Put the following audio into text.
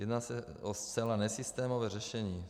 Jedná se o zcela nesystémové řešení.